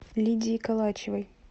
лидией калачевой